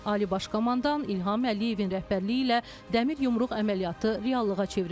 Ali Baş Komandan İlham Əliyevin rəhbərliyi ilə dəmir yumruq əməliyyatı reallığa çevrildi.